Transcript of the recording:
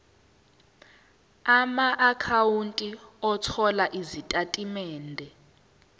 amaakhawunti othola izitatimende